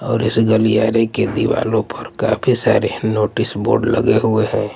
और इस गलियारे के दीवालों पर काफी सारे नोटिस बोर्ड लगे हुए हैं।